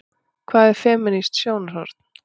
Hvað er femínískt sjónarhorn?